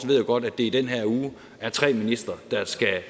ved jo godt at det i den her uge er tre ministre der skal